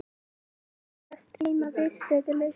Tárin byrja að streyma, viðstöðulaust.